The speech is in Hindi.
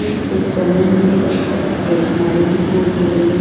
इस पिक्चर में मुझे एक स्टैशनरी दिखाई दे रही है।